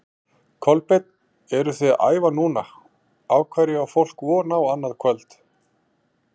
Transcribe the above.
Kolbeinn, þið eruð að æfa núna, á hverju á fólk von á annað kvöld?